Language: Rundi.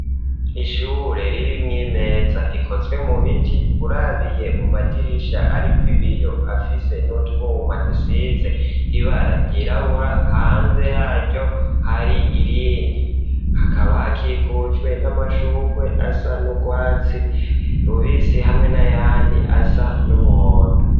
Ishure riri mw'imeza ikozwe mu biti. urabiye mu madirisha ariko ibiyo afise n'utwuma dusitse ibara ryirabura hanze yaryo hari irindi hakaba hakikujwe n'amashukwe asa n'ubwatsi rubisi hamwe nayandi asa n'umuhondo.